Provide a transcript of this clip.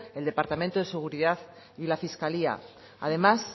el departamento de seguridad y la fiscalía además